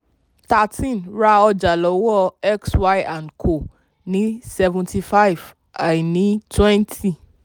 thirteen ra ọjà lọ́wọ́ x y and co ní seven-five àìní twenty.